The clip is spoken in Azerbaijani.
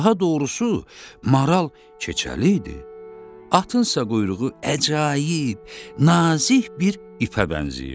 Daha doğrusu, maral keçəl idi, atınsa quyruğu əcaib, nazik bir ipə bənzəyirdi.